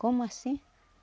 Como assim?